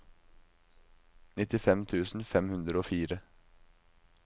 nittifem tusen fem hundre og fire